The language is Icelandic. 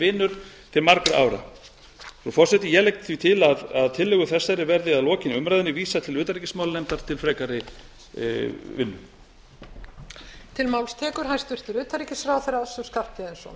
vinur til margra ára frú forseti ég legg því til að tillögu þessari verði að lokinni umræðunni vísað til utanríkismálanefndar til frekari vinnu